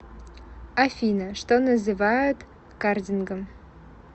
афина что называют кардингом